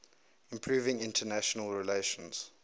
improving international relations